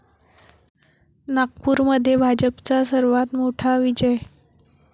नागपूरमध्ये भाजपचा सर्वात मोठा विजय